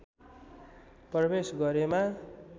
प्रवेश गरेमा